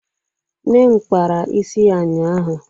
nne m kpara isi ya ụnyahụ